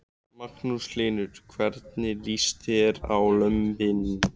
Magnús Hlynur: Hvernig líst þér á lömbin?